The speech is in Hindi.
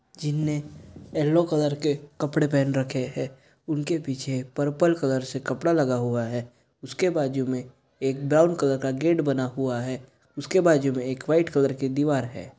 जिनने येलो कलर के कपड़े पहन रखे है उनके पीछे परपल कलर से कपड़ा लगा हुआ है। उसके बाजु में एक ब्राउन कलर का गेट बना हुआ है उसके बाजु मे एक व्हाइट कलर का दीवार है।